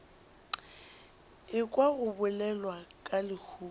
ekwa go bolelwa ka lehufa